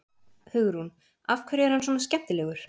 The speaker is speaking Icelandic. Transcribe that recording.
Hugrún: Af hverju er hann svona skemmtilegur?